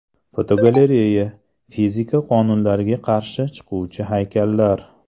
Fotogalereya: Fizika qonunlariga qarshi chiquvchi haykallar.